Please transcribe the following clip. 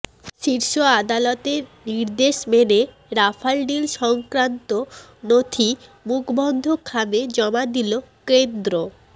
শীর্ষ আদালতের নির্দেশ মেনে রাফাল ডিল সংক্রান্ত নথি মুখবন্ধ খামে জমা দিল কেন্দ্র